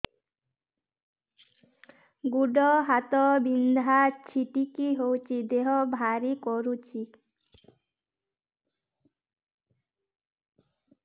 ଗୁଡ଼ ହାତ ବିନ୍ଧା ଛିଟିକା ହଉଚି ଦେହ ଭାରି କରୁଚି